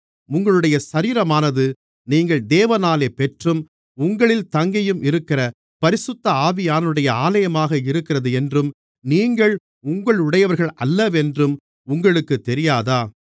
உங்களுடைய சரீரமானது நீங்கள் தேவனாலே பெற்றும் உங்களில் தங்கியும் இருக்கிற பரிசுத்த ஆவியானவருடைய ஆலயமாக இருக்கிறதென்றும் நீங்கள் உங்களுடையவர்கள் அல்லவென்றும் உங்களுக்குத் தெரியாதா